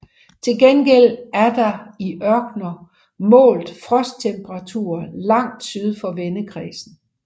Til gengæld er der i ørkener målt frosttemperaturer langt syd for vendekredsen